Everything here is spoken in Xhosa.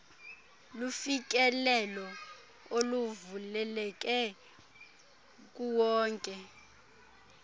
lufikelelo oluvuleleke kuwonke